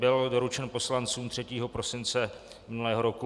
Byl doručen poslancům 3. prosince minulého roku.